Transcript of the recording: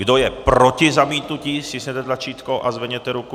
Kdo je proti zamítnutí, stiskněte tlačítko a zvedněte ruku.